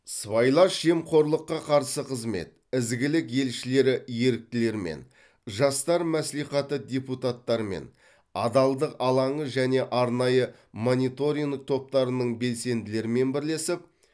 сыбайлас жемқорлыққа қарсы қызмет ізгілік елшілері еріктілерімен жастар мәслихаты депутаттарымен адалдық алаңы және арнайы мониторинг топтарының белсенділерімен бірлесіп